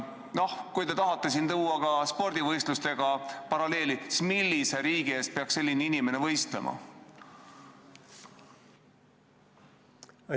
Noh, kui te tahate siin tuua ka spordivõistlustega paralleeli, siis millise riigi eest peaks selline inimene võistlema?